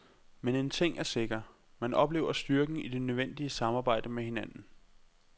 Men en ting er sikker, man oplever styrken i det nødvendige samarbejde med hinanden.